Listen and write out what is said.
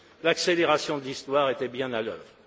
L'accélération de l'histoire était bien à l'œuvre.